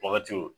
Wagati